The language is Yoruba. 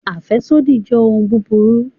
Afẹsodi jẹ ohun buburu